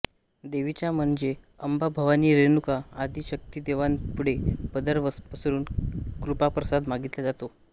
देवीचा म्हणजे अंबा भवानी रेणुका आदि शक्तिदेवतांपुढे पदर पसरून कृपाप्रसाद मागितला जातो